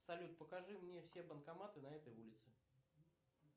салют покажи мне все банкоматы на этой улице